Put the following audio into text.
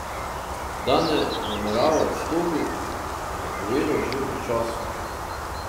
Da ne namerava odstopiti, je napovedal že pred časom.